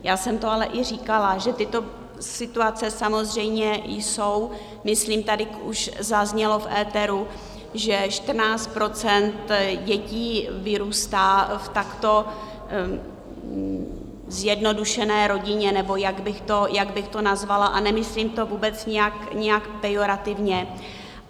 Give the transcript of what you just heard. Já jsem to ale i říkala, že tyto situace samozřejmě jsou, myslím, tady už zaznělo v éteru, že 14 % dětí vyrůstá v takto zjednodušené rodině, nebo jak bych to nazvala, a nemyslím to vůbec nějak pejorativně.